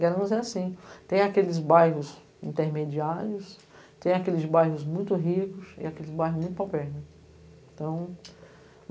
Guaranus é assim, tem aqueles bairros intermediários, tem aqueles bairros muito ricos e aqueles bairros muito pau-perna.